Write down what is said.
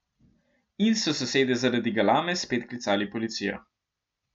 In so sosedje zaradi galame spet klicali policijo.